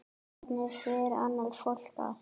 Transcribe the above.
Hvernig fer annað fólk að?